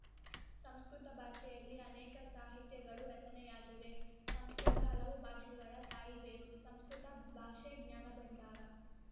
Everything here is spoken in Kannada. ಸಂಸ್ಕೃತ ಭಾಷೆಯಲ್ಲಿ ಅನೇಕ ಸಾಹಿತ್ಯಗಳು ರಚನೆಯಾಗಿವೆ ಸಂಸ್ಕೃತ ಹಲವು ಭಾಷೆಗಳ ತಾಯಿಬೇರು ಸಂಸ್ಕೃತ ಭಾಷೆ ಜ್ಞಾನಭಂಡಾರ